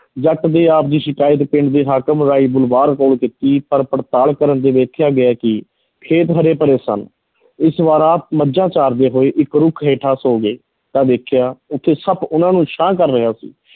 ਜੱਟ ਦੇ ਆਪ ਦੀ ਸ਼ਿਕਾਇਤ ਪਿੰਡ ਦੇ ਹਾਕਮ ਰਾਏ ਬੁਲਾਰ ਕੋਲ ਕੀਤੀ ਪਰ ਪੜਤਾਲ ਕਰਨ ਤੇ ਵੇਖਿਆ ਗਿਆ ਕਿ ਖੇਤ ਹਰੇ-ਭਰੇ ਸਨ ਇਸ ਵਾਰ ਆਪ ਮੱਝਾਂ ਚਾਰਦੇ ਹੋਏ ਇੱਕ ਰੁੱਖ ਹੇਠਾਂ ਸੌ ਗਏ ਤਾਂ ਦੇਖਿਆ ਉੱਥੇ ਸੱਪ ਉਹਨਾਂ ਨੂੰ ਛਾਂ ਕਰ ਰਿਹਾ ਸੀ।